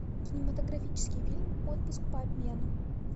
кинематографический фильм отпуск по обмену